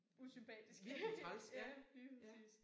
Usympatiske. Ja lige præcis